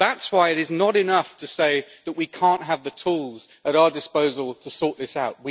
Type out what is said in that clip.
That is why it is not enough to say that we cannot have the tools at our disposal to sort this out.